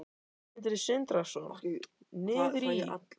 Sindri Sindrason: Niður í?